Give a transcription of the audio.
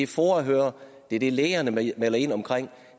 foa hører det er det lægerne melder ind om